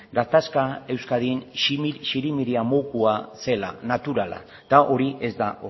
gatazka euskadin zirimiria modukoa zela naturala eta hori ez da